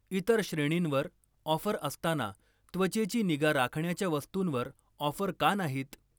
इतर श्रेणींवर ऑफर असताना त्वचेची निगा राखण्याच्या वस्तूंवर ऑफर का नाहीत?